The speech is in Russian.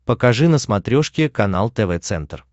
покажи на смотрешке канал тв центр